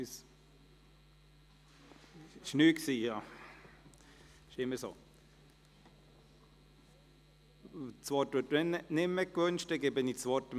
Das ist jetzt nicht mehr so, offenbar wünscht er das Wort nicht mehr.